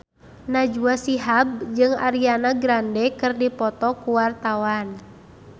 Najwa Shihab jeung Ariana Grande keur dipoto ku wartawan